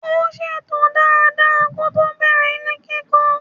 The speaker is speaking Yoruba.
Ó ṣètò dada kótó bẹ̀rẹ̀ ilé kíkọ́.